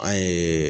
An ye